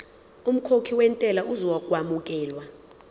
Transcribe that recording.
umkhokhi wentela uzokwamukelwa